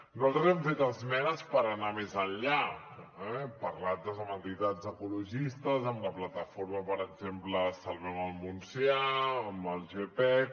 nosaltres hem fet esmenes per anar més enllà eh hem parlat doncs amb entitats ecologistes amb la plataforma per exemple salvem el montsià amb el gepec